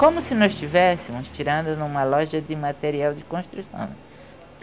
Como se nós estivéssemos tirando de uma loja de material de construção.